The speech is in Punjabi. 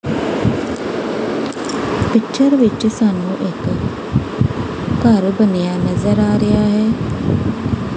ਪਿਚਰ ਵਿੱਚ ਸਾਨੂੰ ਇੱਕ ਘਰ ਬਣਿਆ ਨਜ਼ਰ ਆ ਰਿਹਾ ਹੈ।